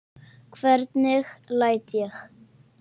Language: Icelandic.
Hvernig læt ég.